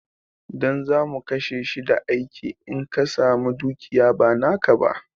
Ɗan zamu kashe shi da aiki in ka samu dukiya ba naka ba